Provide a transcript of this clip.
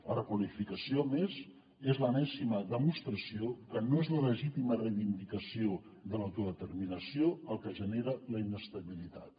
la requalificació a més és l’enèsima demostració que no és la legítima reivindicació de l’autodeterminació el que genera la inestabilitat